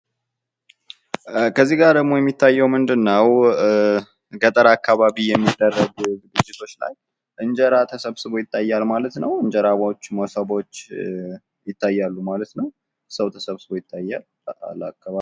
እዚህ ጋር ደግሞ የሚታየው ምንድንነው? ገጠር አካባቢ የሚደረግ ድርጊቶች ላይ እንጀራ ተሰብስቦ ይታያል ማለት ነው። እንጀራ ፣ሞሰቦች ይታያሉ ማለት ነው። ሰው ተሰብስቦ ይታያል።